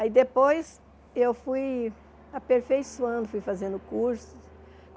Aí depois eu fui aperfeiçoando, fui fazendo cursos.